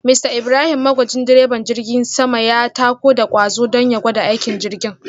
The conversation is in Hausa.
Mr Ibrahim magwajin direban jirgin sama ya tako da kwazo don ya gwada aikin jirgin